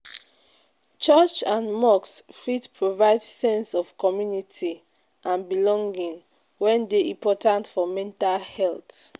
Church and mosque fit provide sense of community and belonging wey dey important for mental health.